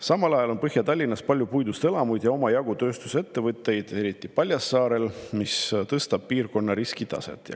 Samal ajal on Põhja-Tallinnas palju puidust elamuid ja omajagu tööstusettevõtteid, eriti Paljassaarel, mis tõstab piirkonna riskitaset.